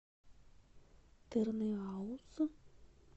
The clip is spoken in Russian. тырныауз